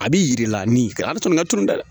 A b'i jira nin a bɛ tɔnɔ ka turu dɛ